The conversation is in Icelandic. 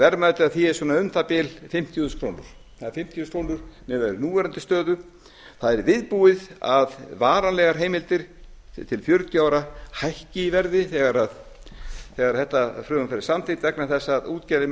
verðmæti af því er svona um það bil fimmtíu þúsund krónur það er fimmtíu krónur miðað við núverandi stöðu það er viðbúið að varanlegar heimildir til fjörutíu ára hækki í verði þegar þetta frumvarp verður samþykkt vegna þess að útgerðin